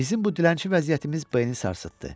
Bizim bu dilənçi vəziyyətimiz B-ni sarsıtdı.